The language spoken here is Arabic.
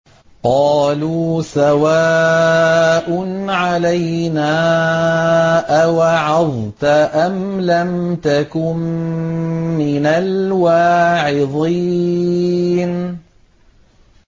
قَالُوا سَوَاءٌ عَلَيْنَا أَوَعَظْتَ أَمْ لَمْ تَكُن مِّنَ الْوَاعِظِينَ